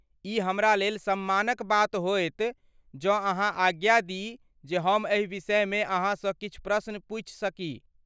ई हमरालेल सम्मानक बात होयत जौं अहाँ आज्ञा दी जे हम एहि विषयमे अहाँसँ किछु प्रश्न पूछि सकी।